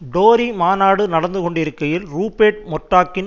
Tory மாநாடு நடந்து கொண்டிருக்கையில் ரூபேர்ட் மொர்டோக்கின்